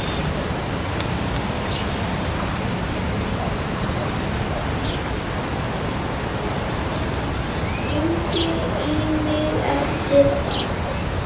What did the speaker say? Hringdi í mig eftir þátt.